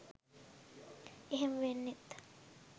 එහෙම වෙන්නෙත්